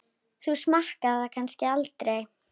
Þú smakkar það kannski aldrei?